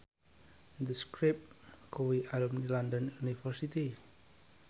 The Script kuwi alumni London University